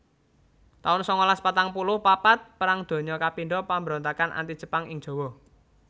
taun sangalas patang puluh papat Perang Donya kapindho Pambrontakan Anti Jepang ing Jawa